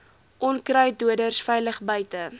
onkruiddoders veilig buite